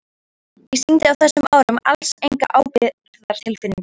Ég sýndi á þessum árum alls enga ábyrgðartilfinningu.